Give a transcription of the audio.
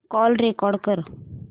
call record कर